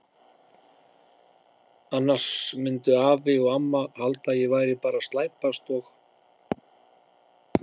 Annars myndu afi og amma halda að ég væri bara að slæpast og.